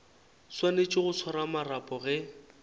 swanetše go swara marapo ge